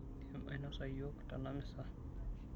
Indim ainosa iyiok tenamisa?